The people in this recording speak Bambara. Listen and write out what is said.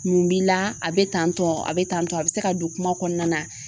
Mun b'i la, a be tantɔ a be tantɔ a be se ka don kuma kɔnɔna na